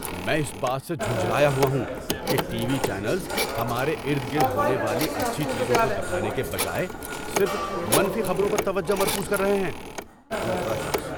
میں اس بات سے جھنجھلایا ہوا ہوں کہ ٹی وی چینلز ہمارے ارد گرد ہونے والی اچھی چیزوں کو دکھانے کے بجائے صرف منفی خبروں پر توجہ مرکوز کر رہے ہیں۔ (دوسرا شخص)